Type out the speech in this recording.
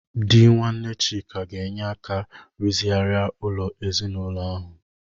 Di nwanne Chika ga-enye aka rụzigharịa ụlọ ezinaụlọ ahu.